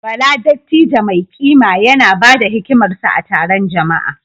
Bala, dattijo mai kima, yana ba da hikimarsa a taron jama’a.